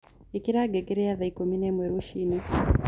ĩkĩra ngengere ya thaa ĩkũmĩ naĩmwe rũciini